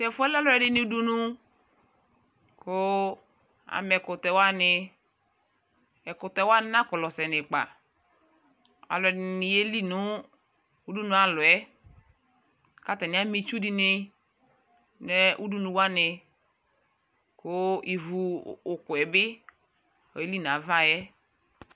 Tʋ ɛfuɛ lɛ alʋɛ dini dʋnu kʋ ama ɛkʋtɛ wani Ɛkʋtɛ wani nakɔlɔ sɛnʋ ikpa Alʋɛ dini yɛli nʋ ʋdunu alɔɛ kʋ atani ama itsʋ di ni nʋ udunu wani, kʋ ivu ʋkʋ bi yeli nʋ ava yɛ